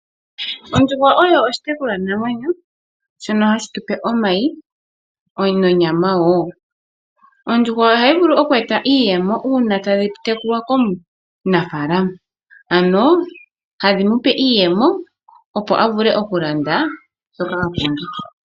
Ondjuhwa oyo oshitekulwanamwenyo shono hashi omayi nonyama wo. Ondjuhwa oha yi vulu oku tu pa iiyemo, uuna ta yi tekulwa komunafaalama